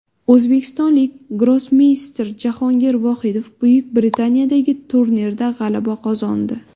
O‘zbekistonlik grossmeyster Jahongir Vohidov Buyuk Britaniyadagi turnirda g‘alaba qozondi.